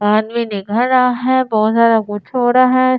आदमी दिखा रहा है बहुत ज्यादा कुछ हो रहा है।